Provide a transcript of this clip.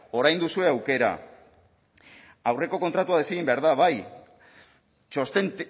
orain duzue aukera aurreko kontratua desegin behar dai bai txosten